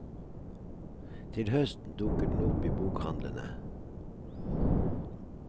Til høsten dukker den opp i bokhandlene.